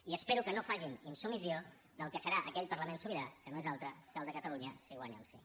i espero que no facin insubmissió del que serà aquell parlament sobirà que no és altre que el de catalunya si guanya el sí